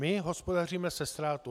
My hospodaříme se ztrátou.